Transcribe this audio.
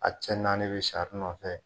A' cɛ naani bɛ sari nɔfɛ.